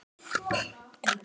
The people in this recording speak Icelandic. Kyrrt veður.